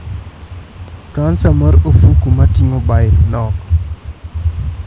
Kansa mar ofuku matingo bile nok